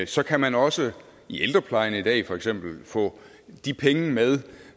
så kan man også i ældreplejen i dag for eksempel få de penge